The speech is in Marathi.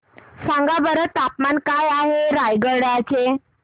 सांगा बरं तापमान काय आहे रायगडा चे